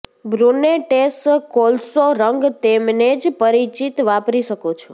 brunettes કોલસો રંગ તેમને જ પરિચિત વાપરી શકો છો